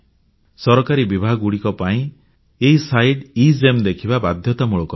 ସରକାରୀ ବିଭାଗଗୁଡ଼ିକ ପାଇଁ ଏଇ ସାଇଟ୍ ଏଗେମ୍ ଦେଖିବା ବାଧ୍ୟତାମୂଳକ ଅଟେ